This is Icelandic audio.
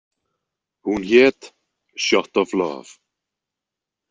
Hún hét „Shot of Love“.